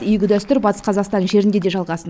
игі дәстүр батыс қазақстан жерінде де жалғасын